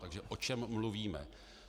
Takže o čem mluvíme!